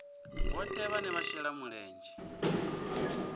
vhohe vhane vha shela mulenzhe